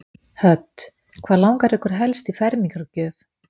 Hödd: Hvað langar ykkur helst í fermingargjöf?